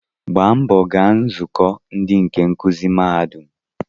Gbaa mbọ gaa nzukọ ndị nkuzi mahadum